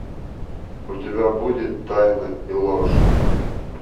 у тебя будет тайны и ложь